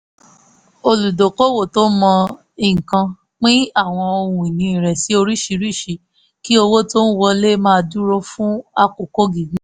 olùdókòwò tó mọ nǹkan pín àwọn ohun ìní rẹ̀ sí oríṣiríṣi kí owó tó ń wọlé máa dúró fún àkókò gígùn